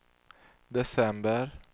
december